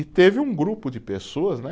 E teve um grupo de pessoas, né?